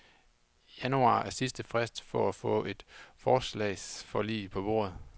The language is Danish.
Januar er sidste frist for at få et forligsforslag på bordet.